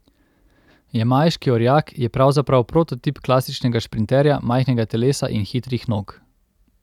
Jamajški orjak je pravzaprav prototip klasičnega šprinterja majhnega telesa in hitrih nog.